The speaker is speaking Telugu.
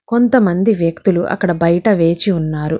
కొంతమంది వ్యక్తులు అక్కడ బైట వేచి ఉన్నారు.